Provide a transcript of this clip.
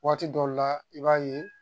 Waati dɔw la i b'a ye